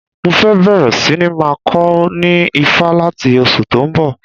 Mo fẹ́ bẹ̀rẹ̀ síní máa kọ ní Ifá láti oṣù tó ń bọ̀